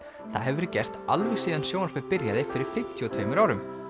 það hefur verið gert alveg síðan sjónvarpið byrjaði fyrir fimmtíu og tveimur árum